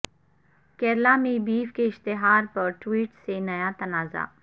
کیرالا میں بیف کے اشتہار پر ٹوئیٹ سے نیا تنازعہ